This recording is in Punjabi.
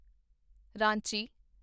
ਰਾਂਚੀ